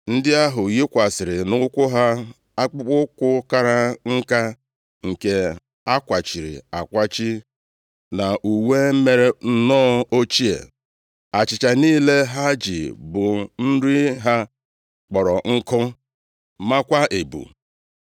Ndị ahụ yikwasịrị nʼụkwụ ha akpụkpọụkwụ kara nka nke a kwachiri akwachi, na uwe mere nnọọ ochie. Achịcha niile ha ji bụ nri ha, kpọrọ nkụ maakwa ebu.